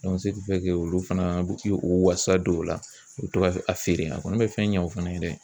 olu fana o wasa don o la u bɛ to ka a feere a kɔni bɛ fɛn ɲɛ u fana ye dɛ